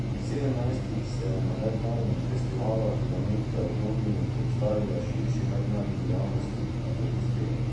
Pri sedemnajstih se je na mednarodnem festivalu flamenka v Londonu predstavila širši mednarodni javnosti in zablestela.